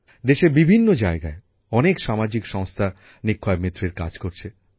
দেশের বিভিন্ন জায়গায় অনেক সামাজিক সংস্থা নিক্ষয়মিত্রের কাজ করছে